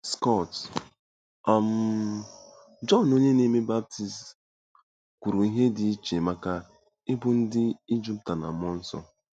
Scott: um Jọn Onye Na-eme Baptizim kwuru ihe dị iche maka ịbụ ndị e jupụta na mmụọ nsọ.